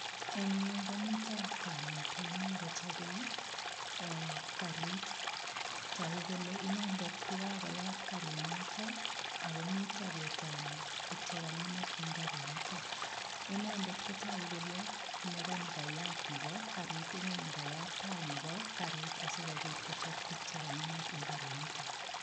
Eng yu ko mito kamet nemi kochobei ee karit. Tagu kole inendet ko kakoyat karit noto ago mito kotanyi tuk che kangemak eng karinito. Inendet ko tagu kole meganigayat nebo karit. Inne ne kayat tai nebo karit asigopit kochop tugukche kangemak eng karitinito.